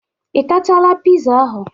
Ị tachala piza ahụ?